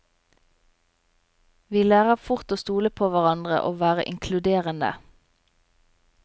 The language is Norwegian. Vi lærer fort å stole på hverandre og være inkluderende.